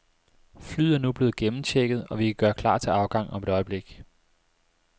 Flyet er nu blevet gennemchecket, og vi kan gøre klar til afgang om et øjeblik.